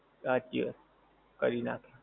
સાંચી વાત. કરી નાંખે.